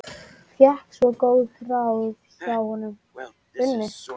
Fékk svo góð ráð hjá Unu.